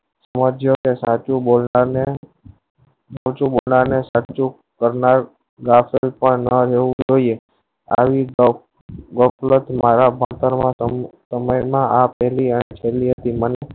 સાચું બોલવાના ને ઓછું બોલના ને સાચી કરનાર જોયીયે આવી મારા ખાતરો માં આ પેલી અન્સ કર્યો